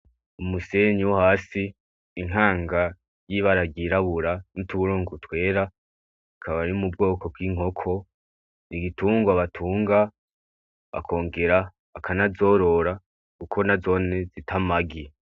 Umusenyi wo hasi intanga y'ibara ryirabura n'utuburungu twera ikaba iri mu bwoko bw'inkoko. N'igitungwa batunga bakongera bakanazorora kuko nazone zita amagi.